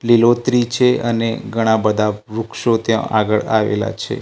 લીલોત્રી છે અને ઘણા બધા વૃક્ષો ત્યાં આગળ આવેલા છે.